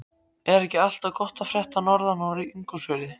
Er ekki allt gott að frétta norðan úr Ingólfsfirði?